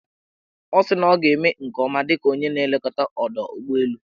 Ọ sị na ọ ga-eme nke ọma dịka onye na-elekọta ọdọụgbọelu.